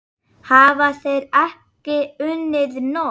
Hafa þeir ekki unnið nóg?